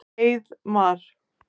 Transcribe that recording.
Heiðmar